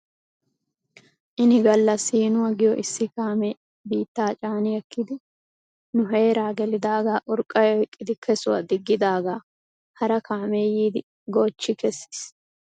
Ini gala siinuwaa giyoo issi kaamee biittaa caani ekkidi nu heeraa gelidaa urqqay oyqqidi keshwaa diggidaagaa hara kaamee yiidi goochi kessis.